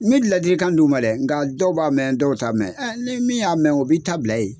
Me ladilikan d'u ma dɛ nka dɔw b'a mɛn dɔw ta mɛn ni min y'a mɛn o bi ta bila yen.